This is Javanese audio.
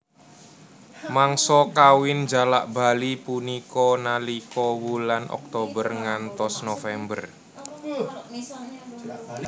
Mangsa kawin jalak bali punika nalika wulan Oktober ngantos November